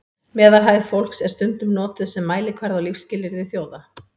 meðalhæð fólks er stundum notuð sem mælikvarði á lífsskilyrði þjóða